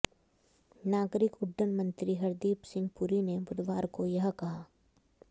नागरिक उड्डयन मंत्री हरदीप सिंह पुरी ने बुधवार को यह कहा